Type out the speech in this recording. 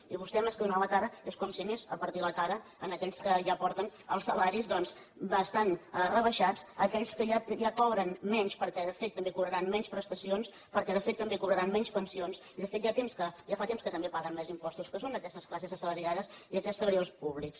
i vostè més que donar la cara és com si anés a partir la cara a aquells que ja porten els salaris doncs bastant rebaixats a aquells que ja cobren menys perquè de fet també cobraran menys prestacions perquè de fet també cobraran menys pensions i de fet ja fa temps que també paguen més impostos que són aquestes classes assalariades i aquests treballadors públics